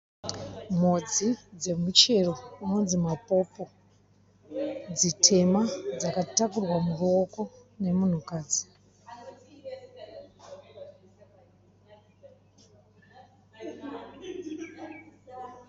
Mhodzi dzemuchero inonzi mapopo, dzitema makatakurwa muruoko nemunhukadzi.